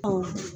Ɔ